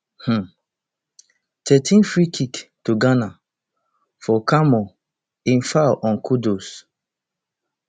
um thirteenfreekick to ghana for carmo im foul on kudus